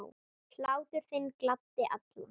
Hlátur þinn gladdi alla.